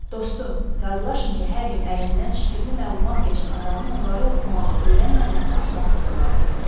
Dostum, razılaşın ki, hər gün əlindən şifirli məlumat keçən adamın onları oxumağı öyrənməməsi axmaqlıq olardı.